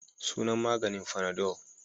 Sunan maganin fanadol.